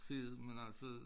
Se det men altså